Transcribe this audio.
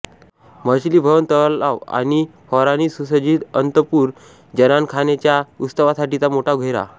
मछली भवन तलाव आणि फव्वारांनी सुसज्जित अन्तपुर जनानखाने च्या उत्सवासाठीचा मोठा घेरा